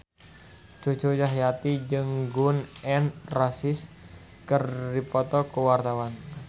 Cucu Cahyati jeung Gun N Roses keur dipoto ku wartawan